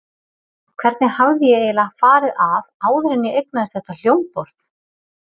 Hvernig hafði ég eiginlega farið að áður en ég eignaðist þetta hljómborð?